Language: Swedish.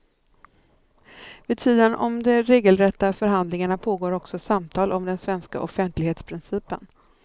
Vid sidan om de regelrätta förhandlingarna pågår också samtal om den svenska offentlighetsprincipen.